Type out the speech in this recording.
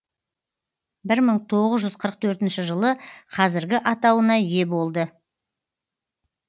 бір мың тоғыз жүз қырық төртінші жылы қазіргі атауына ие болды